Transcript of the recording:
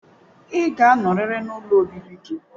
Ị ga-anọrịrị n'ụlọ obibi gị